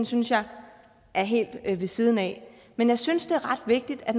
synes jeg er helt ved siden af men jeg synes det er ret vigtigt at